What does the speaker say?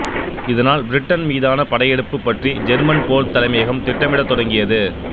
இதனால் பிரிட்டன் மீதான படையெடுப்பு பற்றி ஜெர்மன் போர்த் தலைமையகம் திட்டமிடத் தொடங்கியது